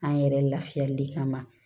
An yɛrɛ lafiyali kama